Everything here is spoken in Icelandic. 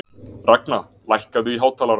Ragna, lækkaðu í hátalaranum.